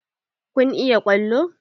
Kun iya ƙwallo?